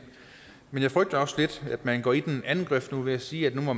men jeg frygter også lidt at man nu går i den anden grøft ved at sige at nu må